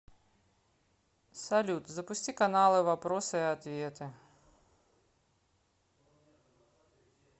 салют запусти каналы вопросы и ответы